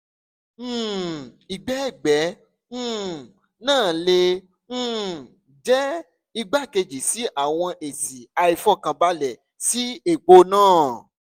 um igbẹgbẹ um naa le um jẹ igbakeji si awọn esi aifọkanbalẹ si epo naa